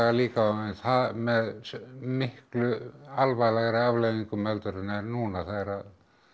líka en með miklu alvarlegri afleiðingum en er núna þegar